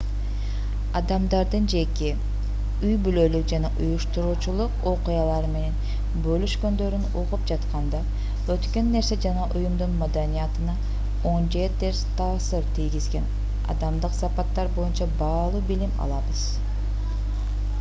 адамдардын жеке үй-бүлөлүк жана уюштуруучулук окуялары менен бөлүшкөндөрүн угуп жатканда өткөн нерсе жана уюмдун маданиятына оң же терс таасир тийгизген адамдык сапаттар боюнча баалуу билим алабыз